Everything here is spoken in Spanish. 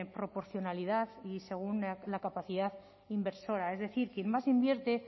proporcionalidad y según la capacidad inversora es decir quien más invierte